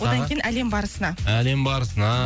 одан кейін әлем барысына әлем барысына